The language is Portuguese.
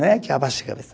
Não é que abaixa a cabeça.